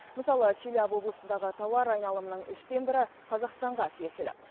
мысалы челябі облысындағы тауар айналымының үштен бірі қазақстанға тиесілі